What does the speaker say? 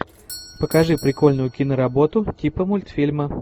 покажи прикольную киноработу типа мультфильма